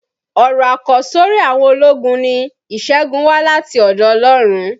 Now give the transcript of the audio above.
Ọ̀rọ̀ àkọsọ́rí àwọn ológun ni "ìṣẹ́gun wá láti ọ̀dọ̀ Ọlọ́run".